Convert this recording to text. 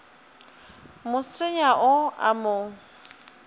mo senya o a mo